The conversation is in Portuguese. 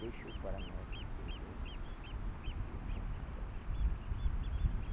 Deixou para nós exemplos de um bom cidadão.